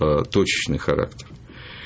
точечный характер